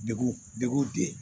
Degu degu de